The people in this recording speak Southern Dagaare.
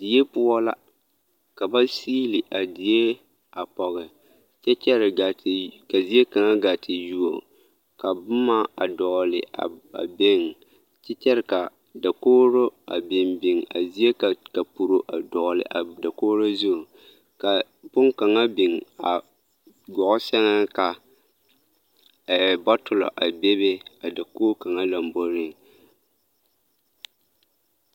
Die poɔ la ka ba siili a die a pɔge kyɛ kyɛre gaa te ka zie kaŋa gaa te yuo ka boma a dɔgele a beŋ kyɛ kyɛre ka dakogiro a biŋ biŋ a zie ka kapuro a dɔgele a dakogiro zu ka boŋkaŋa biŋ a gɔɔ sɛŋ ka bɔtolɔ a bebe a dakogi kaŋa lomboriŋ.